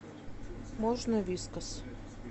можно вискас